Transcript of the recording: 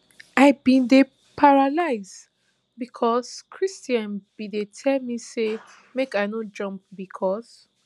i bin dey paralysed becos cristhian bin dey tell me say make i no jump becos